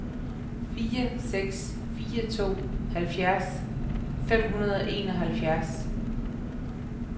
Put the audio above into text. fire seks fire to halvfjerds fem hundrede og enoghalvfjerds